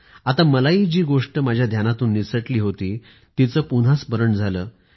आता मलाही जी गोष्ट माझ्या ध्यानातून निसटली होती तिचे पुन्हा स्मरण झालं